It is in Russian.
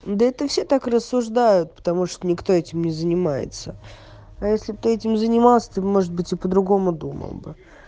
да это все так рассуждают потому что никто этим не занимается а если ты этим занимался ты бы может быть и по-другому думал бы